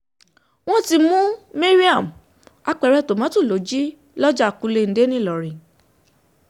wọn ti mu Mariam, apẹrẹ tomoto lo ji lọja kulende nilọrin